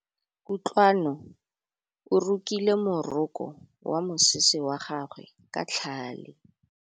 Kutlwanô o rokile morokô wa mosese wa gagwe ka tlhale.